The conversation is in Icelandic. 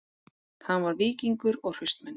Hann var víkingur og hraustmenni